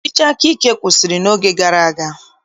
Ọchịchị akaike kwụsịrị n'oge gara aga